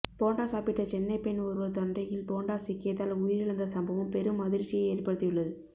போண்டா சாப்பிட்ட சென்னை பெண் ஒருவர் தொண்டையில் போண்டா சிக்கியதால் உயிரிழந்த சம்பவம் பெரும் அதிர்ச்சியை ஏற்படுத்தியுள்ளது